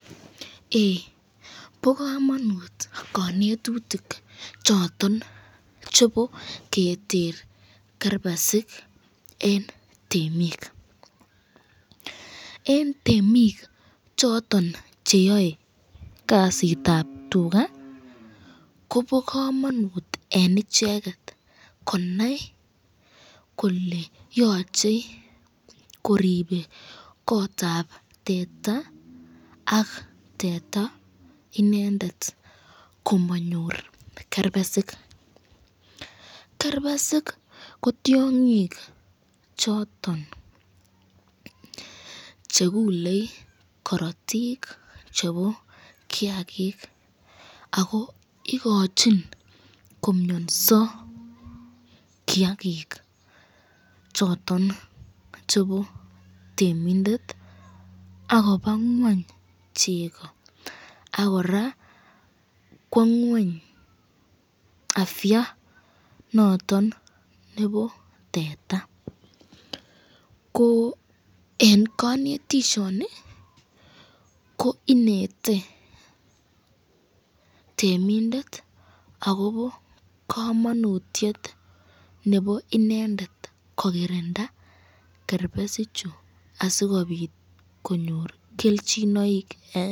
Ee bo kamanut kanetutuk choton chebo keter kerbesik eng temik, eng temik choton cheyae kasitab tuka ko bo kamanut eng icheket konai kole yochei koribe kotab teta ak teta inendet komanyor kerbesik, kerbesik ko tyongik choton chekulei korotik chebo kiakik, ako ikochin komnyanso kiakik choton choton chebo temindet akoba ngweny cheko, ak kora kwo ngweny afya noton nebo teta, ko eng kanetisyoni ko inete temindet akobo kamanutyet nebo inendet kokirinda kerbesik chu asikobit konyor kelchinoik.